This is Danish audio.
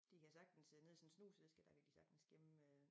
De kan sagtens øh nede i sådan en snusæske dér de kan sagtes gemme øh